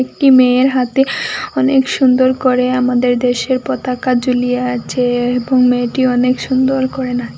একটি মেয়ের হাতে অনেক সুন্দর করে আমাদের দেশের পতাকা ঝুলিয়ে আছে এবং মেয়েটি অনেক সুন্দর করে না--